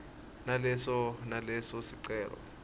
naleso naleso sicelo